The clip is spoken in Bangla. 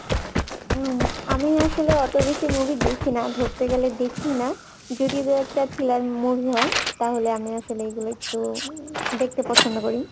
আমি আসলে অত বেশি movie দেখি না ধরতে গেলে দেখি না যদি দু একটা thriller movie হয় তাহলে আমি আসলে এগুলো একটু উম দেখতে পছন্দ করি